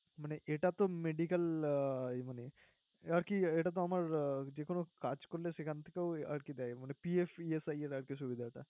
মানে এটা তো medical আহ মানে আরকি, এটাতো আমার যেকোনো কাজ করলে সেখান থেকেও আরকি দেয় মানে PFIES আরকি সুবিধাটা।